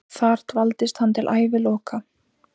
Þar dvaldist hann til æviloka.